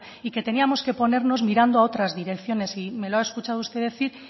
y que teníamos que ponernos mirando a otras direcciones me lo ha escuchado usted decir